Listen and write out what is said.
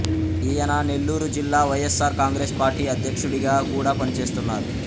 ఈయన నెల్లూరు జిల్లా వైయస్ఆర్ కాంగ్రెస్ పార్టీ అధ్యక్షుడిగా కూడా పనిచేస్తున్నారు